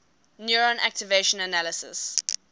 neutron activation analysis